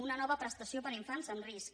una nova prestació per a infants en risc